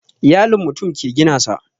Iyalin mutum ke gina sa